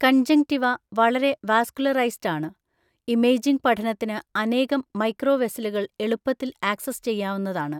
Conjunctiva വളരെ vascularised ആണ്, imaging പഠനത്തിന് അനേകം മൈക്രോവെസ്സലുകൾ എളുപ്പത്തിൽ ആക്സസ് ചെയ്യാവുന്നതാണ്.